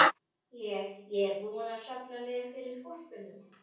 Ég. ég er búinn að safna mér fyrir hvolpinum.